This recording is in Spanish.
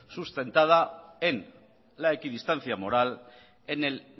sustentada en la equidistancia moral en el